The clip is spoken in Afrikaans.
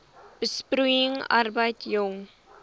besproeiing arbeid jong